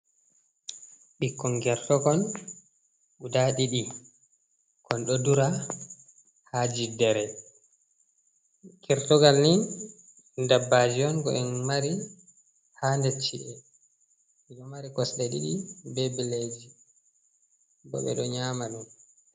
Ɓikkon ngertokon guda ɗiɗi, kon ɗo dura haa jiddere. kertugal ni dabbaaji on ko en mari haa nder chi’e, ɗo mari kosɗe ɗiɗi be bileeji, bo ɓe ɗo nyaama ɗum.